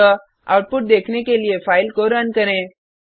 अतः आउटपुट देखने के लिए फाइल को रन करें